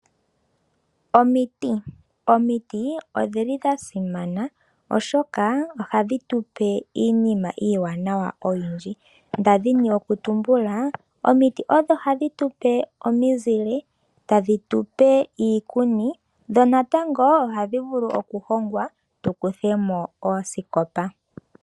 Omiti Omiti odha simana, oshoka ohadhi tu pe iinima oyindji iiwanawa. Nda dhini okutumbula omiti odho hadhi tu pe omizile, tadhi tu pe iikuni dho natango ohadhi vulu okuhongwa tu kuthe mo oosikopa.